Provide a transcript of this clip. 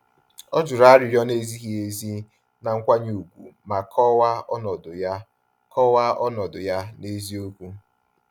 Ọ juru arịrịọ na-ezighị ezi na nkwanye ùgwù ma kọwaa ọnọdụ ya kọwaa ọnọdụ ya n'eziokwu.